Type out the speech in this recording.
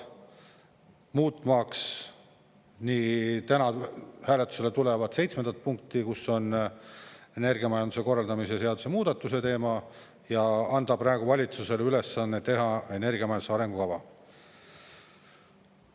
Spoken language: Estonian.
Muutmaks nii täna hääletusele tulevat seitsmendat punkti, kus on energiamajanduse korraldamise seaduse muudatuse teema, ja anda valitsusele ülesanne teha energiamajanduse arengukava.